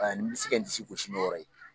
A n bɛ se ka n disi gosi n'a yɔyɔ ye